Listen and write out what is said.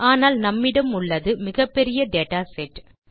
ஆனால் நம்மிடம் உள்ளது மிகப்பெரிய டேட்டா செட்